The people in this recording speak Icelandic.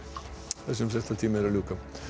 þessum fréttatíma er er lokið